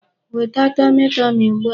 Weta tọmị tọmị ugbu a!